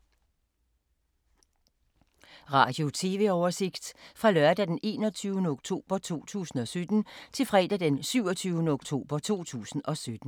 Radio/TV oversigt fra lørdag d. 21. oktober 2017 til fredag d. 27. oktober 2017